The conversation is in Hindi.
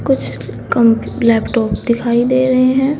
कुछ कम लैपटॉप दिखाई दे रहे हैं।